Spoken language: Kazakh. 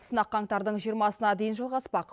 сынақ қаңтардың жиырмасына дейін жалғаспақ